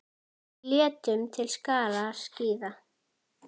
Við létum til skarar skríða.